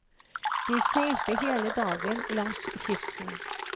De seilte hele dagen langs kysten.